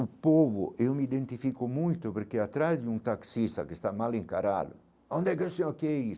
O povo, eu me identifico muito porque atrás de um taxista que está mal encarado, onde é que o senhor quer ir?